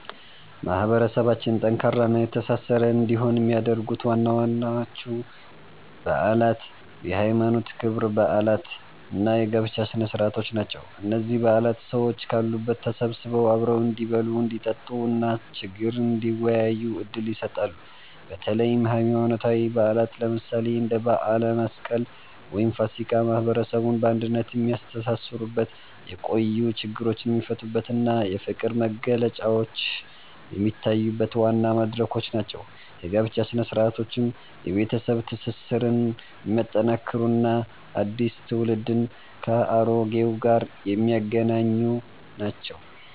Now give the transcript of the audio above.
ማህበረሰባችን ጠንካራና የተሳሰረ እንዲሆን የሚያደርጉት ዋናዎቹ በዓላት የሃይማኖት ክብረ በዓላት እና የጋብቻ ስነ-ስርዓቶች ናቸው። እነዚህ በዓላት ሰዎች ካሉበት ተሰብስበው አብረው እንዲበሉ፣ እንዲጠጡ እና ችግር እንዲወያዩ ዕድል ይሰጣሉ። በተለይም ሃይማኖታዊ በዓላት፣ ለምሳሌ እንደ በዓለ መስቀል ወይም ፋሲካ፣ ማህበረሰቡን በአንድነት የሚያስተሳስሩበት፣ የቆዩ ችግሮች የሚፈቱበት እና የፍቅር መግለጫዎች የሚታዩበት ዋና መድረኮች ናቸው። የጋብቻ ሥነ-ስርዓቶችም የቤተሰብ ትስስርን የሚያጠናክሩ እና አዲስ ትውልድን ከአሮጌው ጋር የሚያገናኙ ናቸው።